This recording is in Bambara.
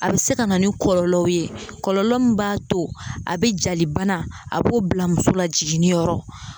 A be se ka na ni kɔlɔlɔw ye kɔlɔlɔ m b'a to a be jali bana a b'o bila muso la jiginniyɔrɔ